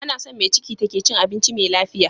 Anason me ciki take cin abinci me lafiya